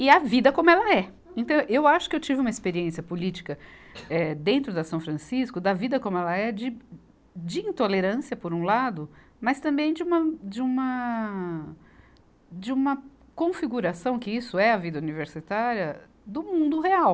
e a vida como ela é. Então, eu acho que eu tive uma experiência política eh, dentro da São Francisco, da vida como ela é, de, de intolerância, por um lado, mas também de uma, de uma, de uma configuração que isso é a vida universitária do mundo real.